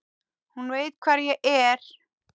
Hún veit hvar ég er.